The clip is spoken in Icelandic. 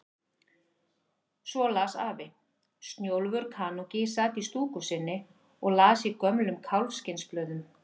Svo las afi: Snjólfur kanúki sat í stúku sinni og las í gömlum kálfskinnsblöðum.